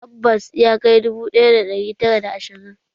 Tabbas, ya kai dubu ɗaya da ɗari tara da ashirin